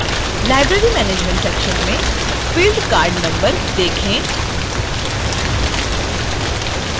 library management: section में field card number: देखें